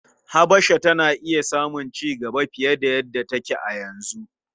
Habasha tana iya samun cigaba fiye da yadda take a yanzu.